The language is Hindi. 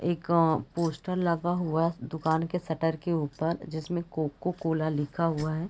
एक अ पोस्टर लगा हुआ है अ दुकान के शटर के ऊपर जिसमे कोको कोला लिखा हुआ है।